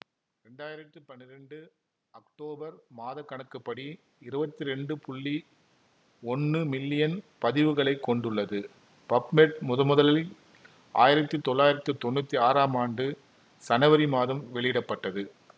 இரண்டாயிரத்தி பன்னிரெண்டு அக்டோபர் மாதக்கணக்குப்படி இருவத்தி இரண்டு புள்ளி ஒன்னு மில்லியன் பதிவுகளைக் கொண்டுள்ளது பப்மெட் முதன்முதலில் ஆயிரத்தி தொள்ளாயிரத்தி தொன்னூத்தி ஆறாம் ஆண்டு சனவரி மாதம் வெளியிட பட்டது